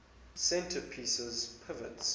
center pieces pivots